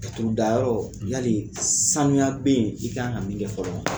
Laturu da yɔrɔ yali saniya be yen i kan ka min kɛ fɔlɔ wa ?